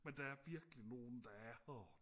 men der er virkelig nogle der er åh